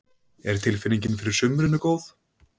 Er tilfinningin fyrir sumrinu góð?